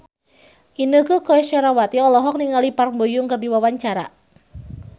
Inneke Koesherawati olohok ningali Park Bo Yung keur diwawancara